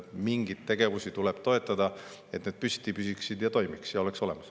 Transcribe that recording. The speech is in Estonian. Mingeid tegevusi tuleb toetada, et need püsti püsiks, toimiks ja oleks olemas.